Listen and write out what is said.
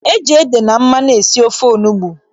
Eji ede na mmanụ esi ofe onugbu.